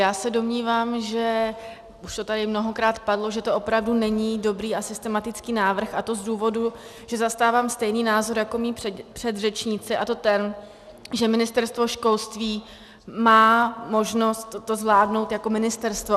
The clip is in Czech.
Já se domnívám, a už to tady mnohokrát padlo, že to opravdu není dobrý a systematický návrh, a to z důvodu, že zastávám stejný názor jako mí předřečníci, a to ten, že Ministerstvo školství má možnost to zvládnout jako ministerstvo.